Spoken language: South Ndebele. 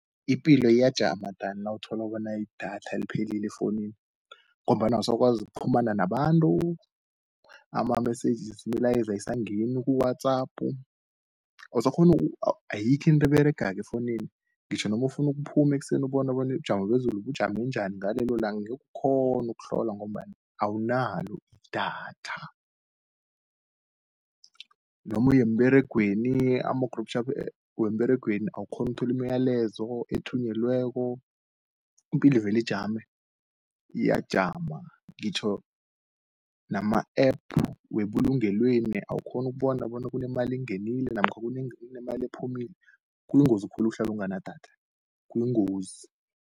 Ipilo iyajama dan nawutholu bona idatha liphelile efounini, ngombana usakwazi ukuqhumana nabantu, iimlayeza ayisangeni ku-WhatsApp. Ayikho into eberegako efounini, ngitjho nomufunu ukuphume ekseni ubone bona ubujamo bezulu bujame njani, ngalelolanga angekukhone ukuhlola ngombana awunalo idatha. Nomu yemberegweni, ama-group chat wemberegweni awukghoni utholi iimlayezo ethunyelweko. Impilo velijame, iyajama ngitjho nama-App webulungelweni awukghoni ukubona bona kunemali engenile namkha kunemali ephumile kuyingozi khulu ukuhlalu unganadatha kuyingozi.